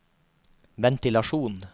ventilasjon